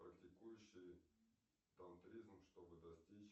практикующий тантризм чтобы достичь